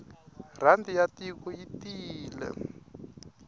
rhandi ya tiko yi tiyile